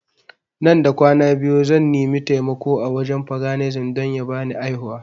Nan da kwana biyu zan nimi taimako a wajen paganism don ya bani aihuwa